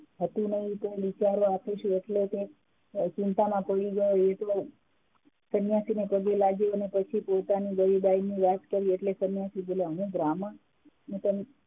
હતી નહિ એટલે કે ચિંતા માં પડી ગયા અને પછી સન્યાસી ને પગે લાગી એ પછી પોતાની ગરીબાઈ ની વાત કરી એટલે સન્યાસી બોલ્યા હે બ્રાહ્મણ